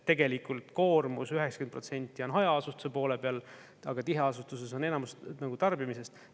Tegelikult koormus 90% on hajaasustuse poole peal, aga tiheasustuses on enamus tarbimisest.